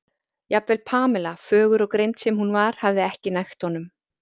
jafnvel Pamela, fögur og greind sem hún var, hafði ekki nægt honum.